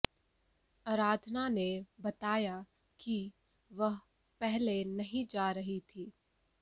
आराधना ने बताया कि वह पहले नहीं जा रही थी